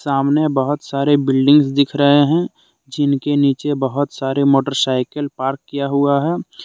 सामने बहुत सारे बिल्डिंग दिख रहे हैंजिनके नीचे बहुत सारे मोटरसाइकिल पार्क किया हुआ है।